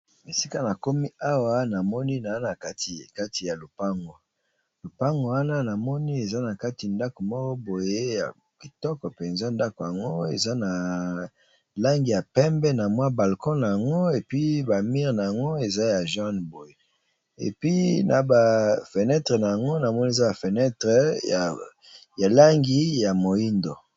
Esika na komi awa namoni naza na kati ya lupango, lupango wana namoni eza na kati ya ndako moko boye ya kitoko penza ndako yango eza na langi ya pembe na mwa balcon na yango epi bamire na yango eza ya jaune boye epi na ba fenetre na yango namoni eza ba fenetre ya langi ya moindo.